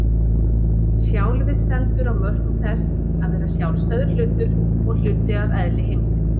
Sjálfið stendur á mörkum þess að vera sjálfstæður hlutur og hluti af eðli heimsins.